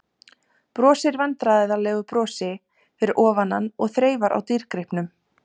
Brosir vandræðalegu brosi fyrir ofan hann og þreifar á dýrgripnum.